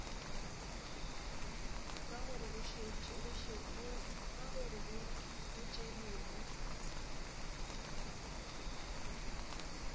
ka gore go tše dingwe